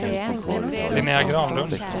Linnea Granlund